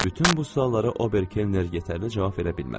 Bütün bu suallara Ober Kenner yetərli cavab verə bilmədi.